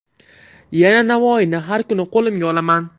Yana Navoiyni har kuni qo‘limga olaman.